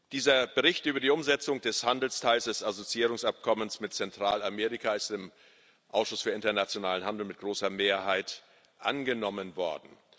Dieser Bericht über die Umsetzung des Handelsteils des Assoziierungsabkommens mit Zentralamerika ist im Ausschuss für internationalen Handel mit großer Mehrheit angenommen worden.